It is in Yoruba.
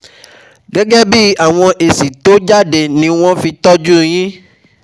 Gẹ́gẹ́ bí àwọn èsì tó jáde ni wọn ó fi tọ́jú u yín